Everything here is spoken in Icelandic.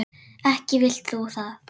Ekki vilt þú það?